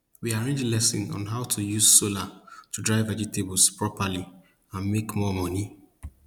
we arrange lesson on how to use solar to dry vegetables properly and make more money